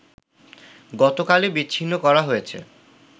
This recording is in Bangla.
গতকালই বিচ্ছিন্ন করা হয়েছে